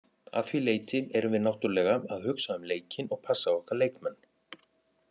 Að því leyti erum við náttúrulega að hugsa um leikinn og passa okkar leikmenn.